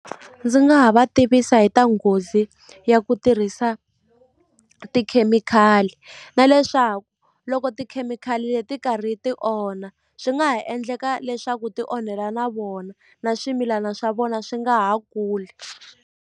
Ndzi nga ha va tivisa hi ta nghozi ya ku tirhisa tikhemikhali na leswaku loko tikhemikhali leti karhi ti onha swi nga ha endleka leswaku ti onhela na vona na swimilana swa vona swi nga ha kuli.